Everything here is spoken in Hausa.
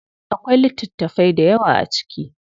Akwai littatafai dayawa a ciki.